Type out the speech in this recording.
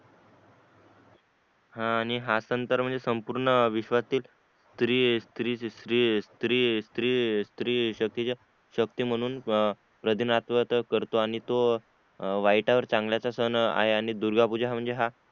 हा आणि सण तर म्हणजे संपूर्ण विश्वातील स्त्री शकीतीच्या शक्ती म्हणून अं प्रदिणत्व तर करतो आणि तो अं वाईटावर चांगल्याच सण आहे